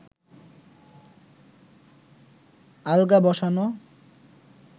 আলগা বসানো